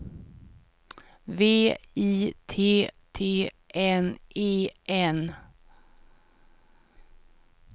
V I T T N E N